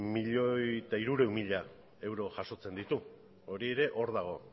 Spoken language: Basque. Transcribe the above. milioi bat hirurehun mila euro jasotzen ditu hori ere hor dago